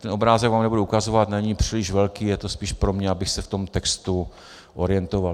Ten obrázek vám nebudu ukazovat, není příliš velký, je to spíš pro mě, abych se v tom textu orientoval.